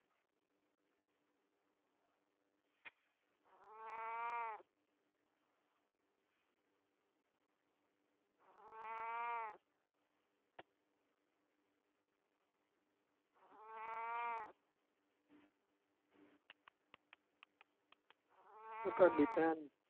ਉਹ ਤੁਹਾਡੀ ਭੈਣ ਨੂੰ